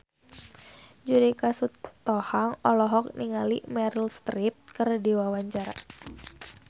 Judika Sitohang olohok ningali Meryl Streep keur diwawancara